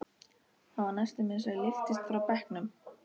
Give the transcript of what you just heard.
Það var næstum eins og ég lyftist frá bekknum.